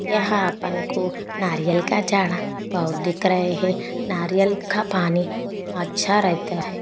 यहा अपन को नरियल का झाडं बहुत दिख रहे है नारियल का पानी अच्छा रहता है।